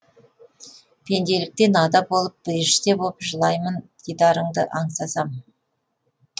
пенделіктен ада болып періште боп жылаймын дидарыңды аңсасам